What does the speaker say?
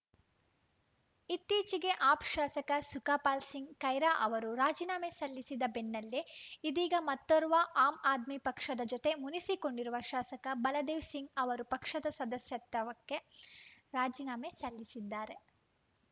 ಇತ್ತೀಚೆಗೆ ಆಪ್‌ ಶಾಸಕ ಸುಖಪಾಲ್‌ ಸಿಂಗ್‌ ಖೈರಾ ಅವರು ರಾಜೀನಾಮೆ ಸಲ್ಲಿಸಿದ ಬೆನ್ನಲ್ಲೇ ಇದೀಗ ಮತ್ತೋರ್ವ ಆಮ್‌ ಆದ್ಮಿ ಪಕ್ಷದ ಜೊತೆ ಮುನಿಸಿಕೊಂಡಿರುವ ಶಾಸಕ ಬಲದೇವ್‌ ಸಿಂಗ್‌ ಅವರು ಪಕ್ಷದ ಸದಸ್ಯತ್ವಕ್ಕೆ ರಾಜೀನಾಮೆ ಸಲ್ಲಿಸಿದ್ದಾರೆ